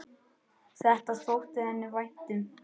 Það þótti henni vænt um.